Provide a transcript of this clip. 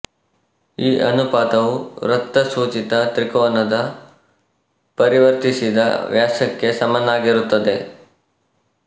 ಈ ಅನುಪಾತವು ವೃತ್ತ ಸೂಚಿತ ತ್ರಿಕೋನದ ಪರಿವೃತ್ತಿಸಿದ ವ್ಯಾಸಕ್ಕೆ ಸಮನಾಗಿರುತ್ತದೆ